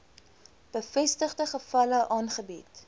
bevestigde gevalle aangebied